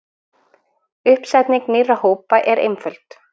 Uppsetning nýrra hópa er einföld.